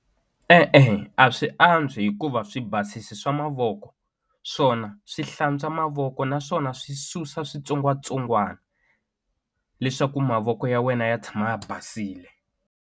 E-e a swi antswi hikuva swi basisi swa mavoko swona swi hlantswa mavoko naswona swi susa switsongwatsongwani leswaku mavoko ya wena ya tshama ya basile.